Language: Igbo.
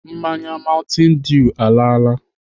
Mmanya mountain dew alaala.